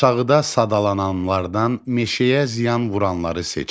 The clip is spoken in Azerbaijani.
Aşağıda sadalananlardan meşəyə ziyan vuranları seçin.